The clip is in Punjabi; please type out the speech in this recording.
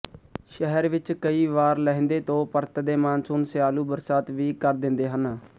ਸ਼ਹਿਰ ਵਿੱਚ ਕਈ ਵਾਰ ਲਹਿੰਦੇ ਤੋਂ ਪਰਤਦੇ ਮਾਨਸੂਨ ਸਿਆਲ਼ੂ ਬਰਸਾਤ ਵੀ ਕਰ ਦਿੰਦੇ ਹਨ